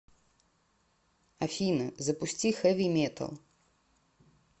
афина запусти хэви метал